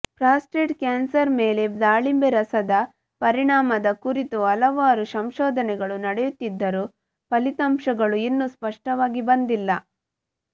prostate cancer ಮೇಲೆ ದಾಳಿಂಬೆ ರಸದ ಪರಿಣಾಮದ ಕುರಿತು ಹಲವಾರು ಸಂಶೋಧನೆಗಳು ನಡೆಯುತ್ತಿದ್ದರೂ ಫಲಿತಾಂಶಗಳು ಇನ್ನೂ ಸ್ಪಷ್ಟವಾಗಿ ಬಂದಿಲ್ಲ